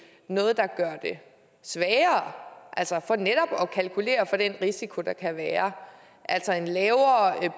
noget der gør det sværere altså for netop at kalkulere med den risiko der kan være altså en lavere